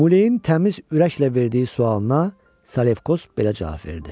Muleyin təmiz ürəklə verdiyi sualına Salefkos belə cavab verdi: